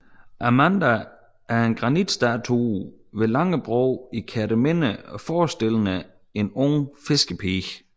Amanda er en granitstatue ved Langebro i Kerteminde forestillende en ung fiskerpige